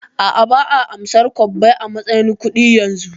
A'a, ba'a amsar kwabbai a matsayin kudi yanzu